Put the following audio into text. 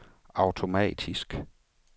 automatisk